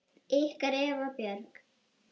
Ykkar Eva Björk.